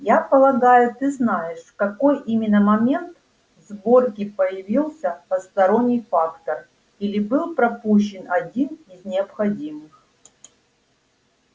я полагаю ты знаешь в какой именно момент сборки появился посторонний фактор или был пропущен один из необходимых